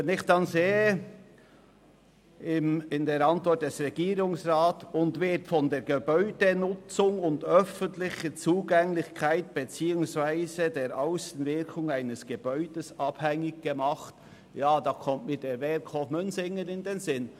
Wenn ich in der Antwort des Regierungsrats lese «[die Kunst am Bau] wird von der Gebäudenutzung und öffentlichen Zugänglichkeit beziehungsweise der Aussenwirkung eines Gebäudes abhängig gemacht», kommt mir der Werkhof Münsingen in den Sinn.